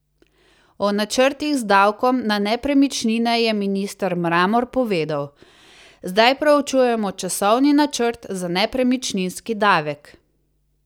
O načrtih z davkom na nepremičnine je minister Mramor povedal: "Zdaj proučujemo časovni načrt za nepremičninski davek.